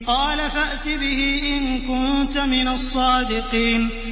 قَالَ فَأْتِ بِهِ إِن كُنتَ مِنَ الصَّادِقِينَ